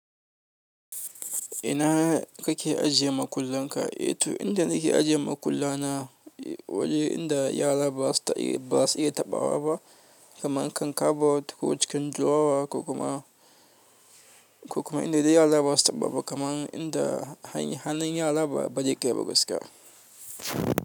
Ina kake ajiye makullan ka? Eh, to inta nake ajiye makulla na a waje inda yara ba su iya taɓawa ba, kaman kan kabo ko cikin duwawa, ko kuma inda da yara ba su taɓa ba kaman inda hannun yara bazai kai ba gaskiya.